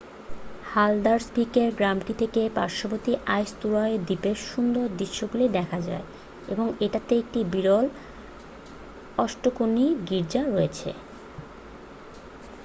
হালদারসভিকের গ্রামটি থেকে পার্শ্ববর্তী আইসতুরয় দ্বীপের সুন্দর দৃশ্যগুলো দেখা যায় এবং এটাতে একটা বিরল অষ্টকোণী গীর্জা রয়েছে